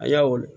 A yawɔ